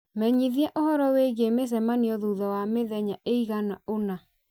menyithia ũhoro wĩgiĩ mĩcemanio thutha wa mĩthenya ĩigana ũna